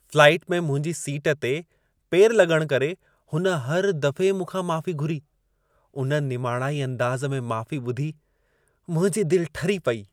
Flight में मुंहिंजी seat ते पेरु लॻण करे, हुन हर दफ़े मूंखां माफ़ी घुरी, उन निमाणाई अंदाज़ में माफ़ी ॿुधी मुंहिंजी दिलि ठरी पेई।